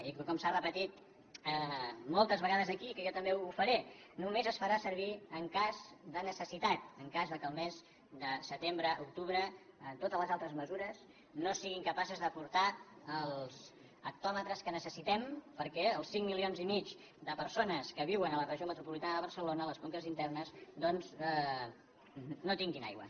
i com s’ha repetit moltes vegades aquí que jo també ho faré només es farà servir en cas de necessitat en cas que el mes de setembre octubre totes les altres mesures no siguin capaces d’aportar els hectòmetres que necessitem perquè els cinc coma cinc milions de persones que viuen a la regió metropolitana de barcelona a les conques internes doncs no tinguin aigua